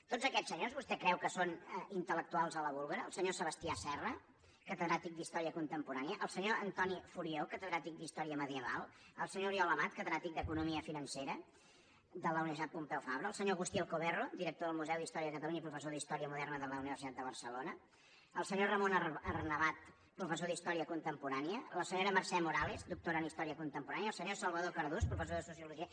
tots aquests senyors vostè creu que són intel·lectuals a la búlgara el senyor sebastià serra catedràtic d’història contemporània el senyor antoni furió catedràtic d’història medieval el senyor oriol amat catedràtic d’economia financera de la universitat pompeu fabra el senyor agustí alcoberro director del museu d’història de catalunya i professor d’història moderna de la universitat de barcelona el senyor ramon arnabat professor d’història contemporània la senyora mercè morales doctora en història contemporània el senyor salvador cardús professor de sociologia